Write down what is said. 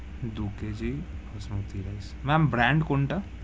দু KG basmati rice ma'am brand কোনটা?